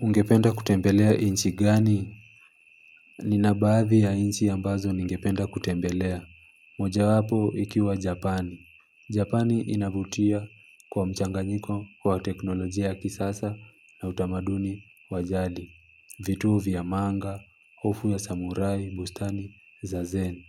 Ungependa kutembelea nchi gani? Ninabaadhi ya nchi ambazo ningependa kutembelea moja wapo ikiwa Japani, Japani inavutia kwa mchanganyiko wa teknolojia ya kisasa na utamaduni wajadi vituo vya manga hofu ya samurai bustani za zen.